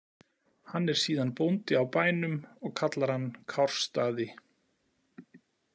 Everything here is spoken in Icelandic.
Hann er síðan bóndi á bænum og kallar hann Kársstaði.